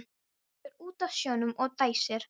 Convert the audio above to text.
Horfir út á sjóinn og dæsir.